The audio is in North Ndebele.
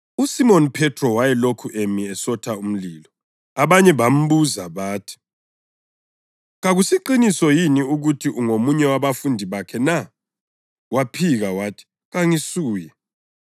USimoni Phethro wayelokhu emi esotha umlilo, abanye bambuza bathi, “Kakusiqiniso yini ukuthi ungomunye wabafundi bakhe na?” Waphika wathi, “Kangisuye.”